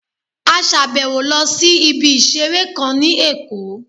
A sàbẹ̀wo lọ sí ibi ìseré kan ní Èkó